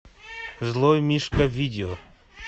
злой мишка видео